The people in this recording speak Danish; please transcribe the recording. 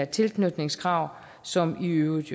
tilknytningskrav som jo i øvrigt